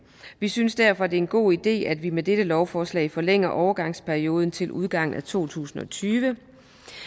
vi synes derfor det er en god idé at vi med dette lovforslag forlænger overgangsperioden til udgangen af to tusind og tyve